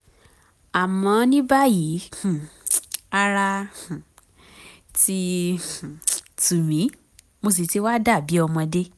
àmọ́ ní báyìí um ara um ti um tù mí mo sì ti wá dàbí ọmọdé